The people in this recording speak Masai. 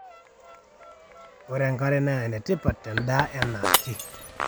ore enkare naa enetipat tendaa enaake